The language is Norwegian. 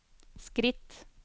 skritt